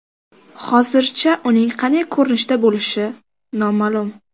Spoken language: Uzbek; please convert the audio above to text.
Hozircha uning qanday ko‘rinishda bo‘lishi noma’lum.